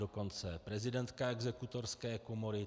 Dokonce prezidentka Exekutorské komory.